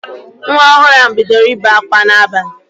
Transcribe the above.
Nwa ọhụrụ ahụ bidoro ibe akwa n'abalị